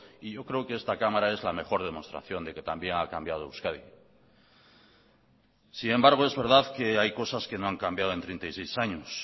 y yo creo que esta cámara es la mejor demostración de que también ha cambiado euskadi sin embargo es verdad que hay cosas que no han cambiado en treinta y seis años